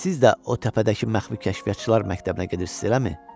Siz də o təpədəki məxfi kəşfiyyatçılar məktəbinə gedirsiz, eləmi?